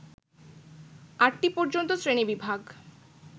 আটটি পর্যন্ত শ্রেণীবিভাগ